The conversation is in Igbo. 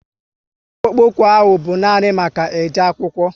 Akpụkpoukwu ahụ bụ nani maka e je akwụkwo